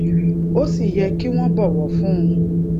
ó sì yẹ kí wọn bọwọ fún un